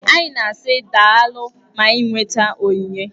Anyị na-asị daalụ ma anyị nweta onyinye.